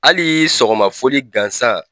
Hali sɔgɔma foli gansan.